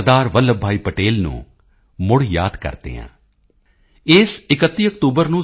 ਵੱਲਭ ਭਾਈ ਪਟੇਲ ਨੂੰ ਮੁੜ ਯਾਦ ਕਰਦੇ ਹਾਂ ਇਸ 31 ਅਕਤੂਬਰ ਨੂੰ ਸ